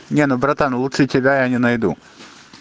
не ну братан лучше тебя я не найду